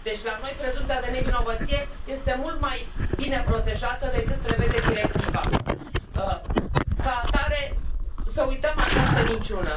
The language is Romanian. Deci la noi prezumția de nevinovăție este mult mai bine protejată decât prevede directiva. Ca atare, să uităm această minciună.